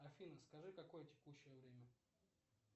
афина скажи какое текущее время